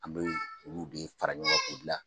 An bɛ olu bɛ fara ɲɔn kan k'u gila.